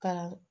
Ka